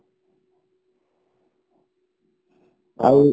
ଆଉ